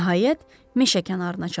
Nəhayət, meşə kənarına çatdım.